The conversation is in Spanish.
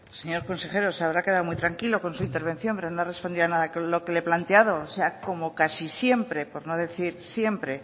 señor consejero se habrá quedado muy tranquilo con su intervención pero no ha respondido nada a lo que le he planteado o sea como casi siempre por no decir siempre